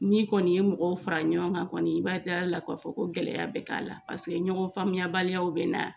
N'i kɔni ye mɔgɔw fara ɲɔgɔn kan kɔni, i b'a diya la k'a fɔ ko gɛlɛya bɛ k'a la paseke ɲɔgɔn faamuyabaliya bɛ na